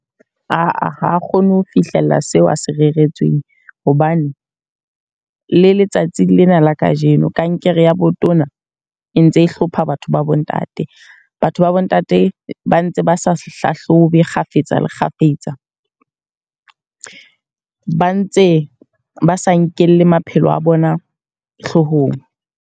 Aa ha kgone ho fihlella seo a se reretsweng. Hobane le letsatsi lena la kajeno, kankere ya botona e ntse e hlopha batho ba bo ntate. Batho ba bo ntate ba ntse ba sa hlahlobe kgafetsa kgafetsa. Ba ntse ba sa nkelle maphelo a bona hloohong.